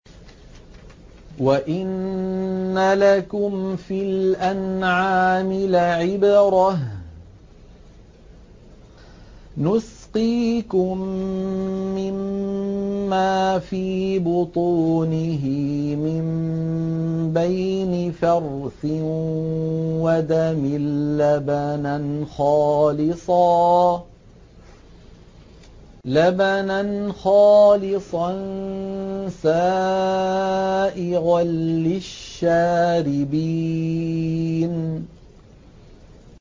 وَإِنَّ لَكُمْ فِي الْأَنْعَامِ لَعِبْرَةً ۖ نُّسْقِيكُم مِّمَّا فِي بُطُونِهِ مِن بَيْنِ فَرْثٍ وَدَمٍ لَّبَنًا خَالِصًا سَائِغًا لِّلشَّارِبِينَ